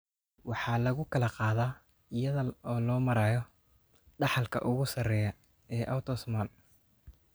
Waxa lagu kala qaadaa iyada oo loo marayo dhaxalka ugu sarreeya ee autosomal.